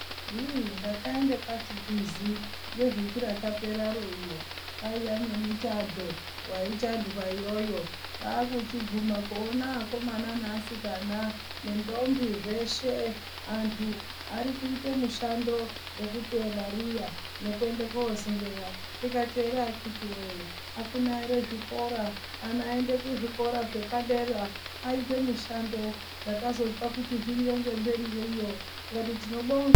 Hii. ndakaende kwachikwizi nevhiki rakaperaro iro kwaiya nemuchadho waichandwa iyoyo kwakuchiguma kuone akomana neasikana nendhombi zveshe antu arikuite mushando wekuteye mariya nekuende kosingeya ndikati ere akiti woye akuna ere zvikora ana aende kuzvikora zvepadera aite mishando ndakazozwe kuti zviriyo ngemberiyo iyo ndikati tinobonga.